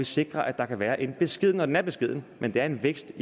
sikrer at der kan være en beskeden og den er beskeden men det er en vækst